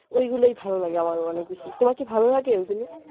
ঐ গুলাই ভালো লাগে আমার ও অনেক বেশি। তোমার কি ভালো লাগে